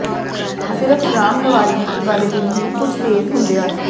ਸਿਰਫ ਰਾਮਨਵਾਲੀ ਵਾਲੇ ਦਿਨ ਹੀ ਕੁਝ ਤੇਜ਼ ਹੁੰਦੇ ਹਨ